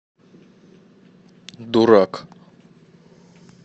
дурак